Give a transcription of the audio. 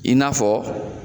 I n'a fɔ